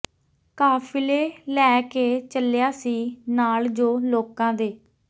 ਕਾਫਿਲੇ ਲੈ ਕੇ ਚੱਲਿਆ ਸੀ ਨਾਲ ਜੋ ਲੋਕਾਂ ਦੇ